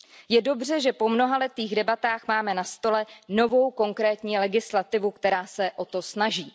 Je dobře, že po mnohaletých debatách máme na stole novou, konkrétní legislativu, která se o to snaží.